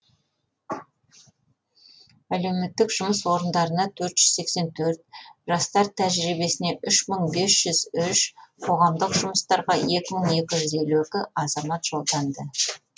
әлеуметтік жұмыс орындарына төрт жүз сексен төрт жастар тәжірибесіне үш мың бес жүз үш қоғамдық жұмыстарға екі мың екі жүз елу екі азамат жолданды